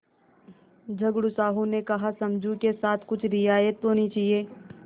झगड़ू साहु ने कहासमझू के साथ कुछ रियायत होनी चाहिए